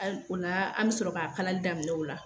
Al o la an bɛ sɔrɔ k'a kalali damin'o la.